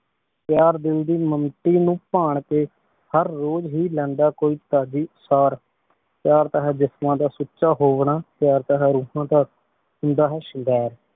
ਪ੍ਯਾਰ ਦਿਲ ਦੀ ਨੂ ਪਾਨ ਕੇ ਹਰ ਰੋਜ਼ ਹੀ ਲੈਂਦਾ ਕੋਈ ਤਾੜੀ ਸਾਰ ਪ੍ਯਾਰ ਤਾਂ ਹੈ ਜਿਸਮਾਂ ਦਾ ਸੁਚਾ ਹੋਣਾ ਪ੍ਯਾਰ ਤਾਂ ਹੈ ਰੋਹਨ ਦਾ ਹੁੰਦਾ ਹੈ ਸ਼ਿੰਗਾਰ